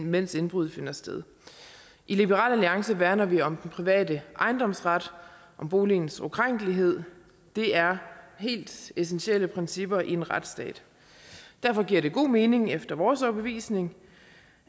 mens indbruddet finder sted i liberal alliance værner vi om den private ejendomsret om boligens ukrænkelighed det er helt essentielle principper i en retsstat derfor giver det god mening efter vores overbevisning